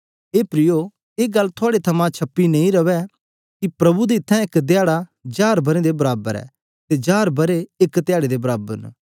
हे प्रियो ए गल्ल थुआड़े कन्ने छिपी नां रेए कि प्रभु दे इत्थैं इक धयारे हजार बरें दे बराबर ऐ अते हजार बरें इक धयारे दे बराबर ऐ